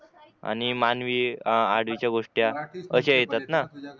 आणि मानवी आ आडवी च्या गोष्टया आशा येतात ना.